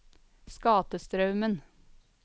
Skatestraumen